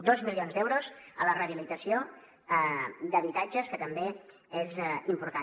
dos milions d’euros a la rehabilitació d’habitatges que també és important